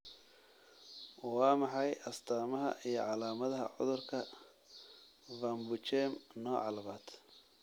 Waa maxay astamaha iyo calaamadaha cudurka Van Buchem nooca labaad?